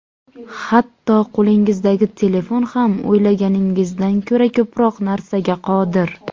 Hatto qo‘lingizdagi telefon ham o‘ylaganingizdan ko‘ra ko‘proq narsaga qodir.